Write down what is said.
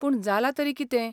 पूण जालां तरी कितें?